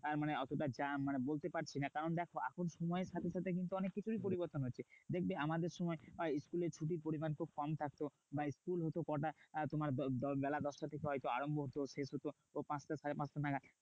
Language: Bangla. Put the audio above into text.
আর মানে অতটা মানে বলতে পারছি না। কারণ দেখো এখন সময়ের সাথে সাথে কিন্তু অনেককিছুই পরিবর্তন হচ্ছে। দেখবে আমাদের সময় school এ ছুটির পরিমান খুব কমই থাকতো। বা school হতো কটা তোমার বেলা দশটা থেকে হয়তো আরম্ভ হতো। সেই চলতো পাঁচটা সাড়ে পাঁচটা নাগাদ।